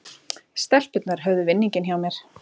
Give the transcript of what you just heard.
Stelpurnar höfðu vinninginn hjá mér